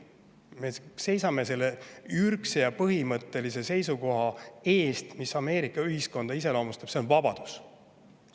Me seisame selle ürgse ja põhimõttelise seisukoha eest, mis Ameerika ühiskonda iseloomustab – see on vabadus.